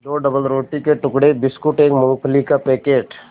दो डबलरोटी के टुकड़े बिस्कुट एक मूँगफली का पैकेट